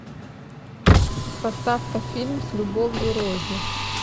поставь ка фильм с любовью рози